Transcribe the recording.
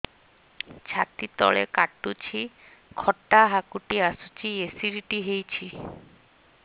ଛାତି ତଳେ କାଟୁଚି ଖଟା ହାକୁଟି ଆସୁଚି ଏସିଡିଟି ହେଇଚି